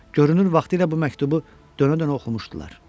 Görünür, vaxtilə bu məktubu dönə-dönə oxumuşdular.